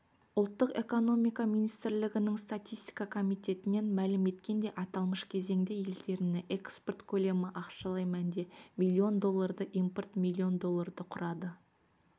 ұлттық экономика министрлігінің статистика комитетінен мәлім еткендей аталмыш кезеңде елдеріне экспорт көлемі ақшалай мәнде миллион долларды импорт миллион долларды құрады